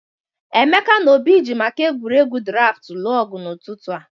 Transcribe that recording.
Emeka na Obi ji maka egwuregwu draftụ lụọ ọgụ n'ụtụtụ a.